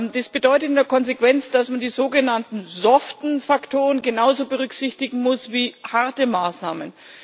Dies bedeutet in der Konsequenz, dass man die sogenannten soften Faktoren genauso berücksichtigen muss wie harte Maßnahmen.